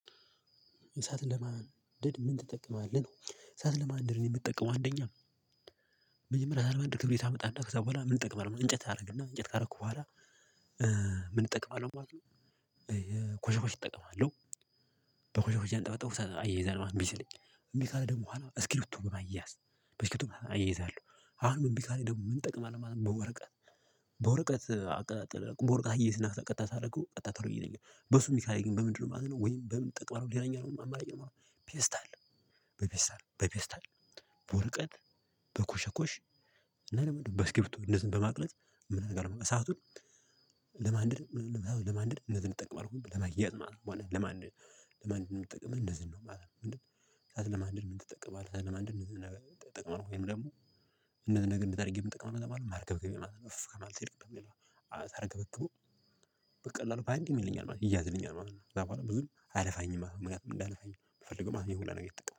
እሳት ለማንደድ ምን ትጠቀማለህ ነው? እሳት ለማንደድ የምጠቀመው አንደኛ መጀመሪያ ለማድረግ ክብሪየታመጣለህ ከዛ በኋላ ምን እንጠቅም አይደለም እንጨት አደረግና እንጨት ካደረኩ በኋላ ምን እጠቅማለሁ በኋላ ኮሻኮሽ እጠቀማለሁ። በኮሻኮሽ አንጠበጠቡ እሰ አያያዛለው ነው እምቢ ሲለኝ እምቢ ካለ ደግሞ አለ እስኪብርቶ በማያያዝ በስኪብርቶ አያያዛለሁ አሁንም እቢካለኝ ደግሞ ምን ጠቅማለሁ ማለት ነው። በወረቀት በወረቀት አቀጣጠለ በወረቀት አያያዝና ቀጣጥ ሳደረገው ቀጥታ ሳደረገው ቀጥታ ቶሎ ይይዘኛል ሚሰራልኝ። በምንድነው ማዝነው ወይም በምን ጠቀመህ ሌላኛው ደሞ አማራጭ ይኖረኛል። ፔስታል በፔስታል በፌስታል በወረቀት በኮሽኩሽ እና ምንድነው በስክሪፕቱ እንደዚህ በማቅለጥ ምን ነገር አለው? እሳቱን ለማንደድ እንዚህ እንጠቀም ሁሌም ለማያያዝ ማለት ነው። በእውነት ለማንደድ ምን ትጠቅምህ እንደዚህ ነው ማለት ነው። እሳት ለማንደድ ምን ትጠቅምሃለህ? እሳት ለማንደድ እነዚህን እጠቀማለሁ ወይም ደግሞ እንደዚህ ነገር እንደዚህ አድርጌ የምጠቅመው ማለት ነው ማርገብገቢያ ማለት ነው እፍ ማለት የለብንም። ሌላ ማለት ነው ሳረግግብግቡ በቀላሉ በአንዴ ይያያዝልኛል ማለት ነው ይያያዝልኛል ማለት ነው ከዛ በኋላ ብዙም አያለፋኝም ማለት ነው። እንዳያለፋኝ የምፈልገው ይሄ ሁላ ነገር ምጠቅመው